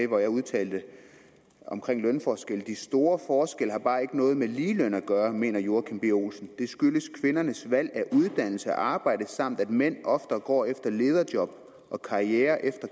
hvor jeg udtalte om lønforskelle de store forskelle har bare ikke noget med ligeløn at gøre mener joachim b olsen det skyldes kvindernes valg af uddannelse og arbejde samt at mænd oftere går efter lederjob og karriere